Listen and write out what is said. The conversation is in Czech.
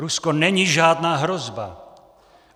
Rusko není žádná hrozba.